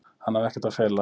Hann hafi ekkert að fela.